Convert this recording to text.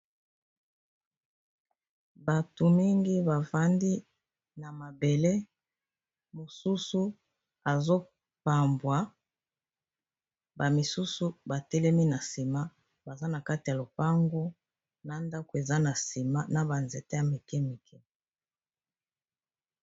Bato mingi bafandi na mabele mosusu azopambwa bamisusu batelemi na sima baza na kati ya lopango na ndako eza na sima na ba nzete ya mike mike.